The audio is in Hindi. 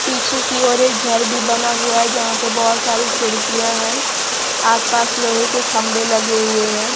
पीछे कि ओर एक घर भी बना हुआ है जहां पे बहोत सारी खिड़कियाँ हैं आस पास लोहे के खंभे लगे हुए हैं।